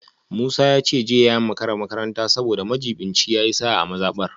Musa ya ce jiya ya makara makaranta saboda majibincin ya yi sa’a a mazabar